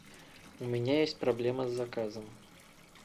у меня есть проблема с заказом